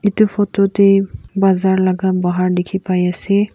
etu photo te baazer laga bahar dekhi pai ase.